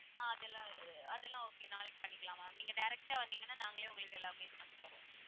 ஆஹ் அதெல்லாம் அதெல்லாம் okay நாளைக்கு பண்ணிக்கலாம் ma'am நீங்க direct ஆ வந்தீங்கனா நாங்களே உங்களுக்கு எல்லாமே இது பண்ணி தருவோம்